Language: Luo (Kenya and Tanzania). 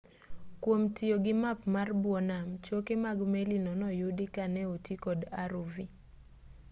kwom tiyo gi map mar bwo nam choke mag meli no noyudi ka ne oti kod rov